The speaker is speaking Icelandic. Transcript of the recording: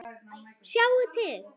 Sjáðu til.